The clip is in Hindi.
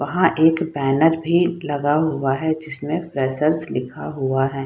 वहाँ एक भी बैनर भी लगा हुआ है जिस में फ्रेस्सर लिखा हुआ है।